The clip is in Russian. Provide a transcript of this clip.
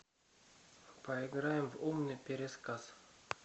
поиграем в умный пересказ